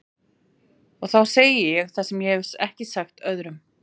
Og þá segi ég það sem ég hef ekki sagt öðrum.